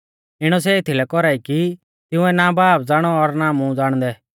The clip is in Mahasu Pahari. इणौ सै एथीलै कौरा ई कि तिंउऐ ना बाब ज़ाणौ और ना मुं ज़ाणदै